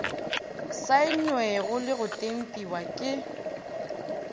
saennwego le go tempiwa ke